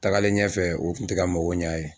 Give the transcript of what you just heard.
Taagalen ɲɛfɛ o kun tɛ ka mako ɲɛ a ye.